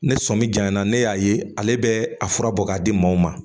Ne sɔmi janyana ne y'a ye ale bɛ a fura bɔ k'a di maaw ma